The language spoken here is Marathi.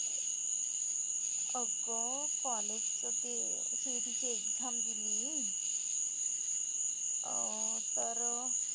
अगं college चं ते CET ची exam दिली अं तर